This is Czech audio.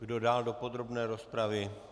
Kdo dál do podrobné rozpravy?